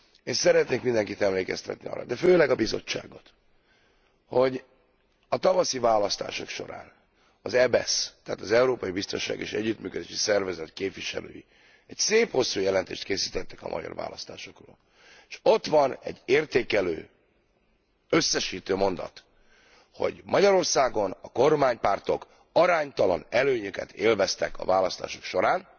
Én szeretnék mindenkit emlékeztetni arra, de főleg a Bizottságot, hogy a tavaszi választások során az EBESZ, tehát az Európai Biztonsági és Együttműködési Szervezet képviselői egy szép, hosszú jelentést készítettek a magyar választásokról, és ott van egy értékelő, összesítő mondat, hogy Magyarországon a kormánypártok aránytalan előnyöket élveztek a választások során,